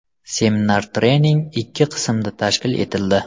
Seminar-trening ikki qismda tashkil etildi.